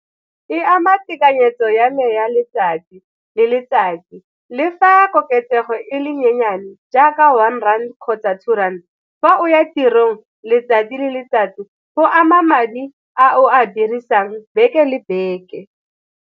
E ama tekanyetso ya me ya letsatsi le letsatsi, le fa koketsego e le nyenyane jaaka one rand kgotsa two rand. Fa o ya tirong letsatsi le letsatsi go ama madi a o a dirisang beke le beke.